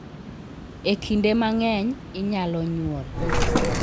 E kinde mang'eny, inyalo nyuol.